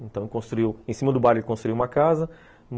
Então, construiu... Em cima do bairro, ele construiu uma casa.